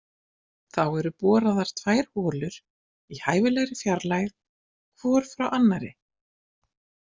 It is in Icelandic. Þá eru boraðar tvær holur í hæfilegri fjarlægð hvor frá annarri.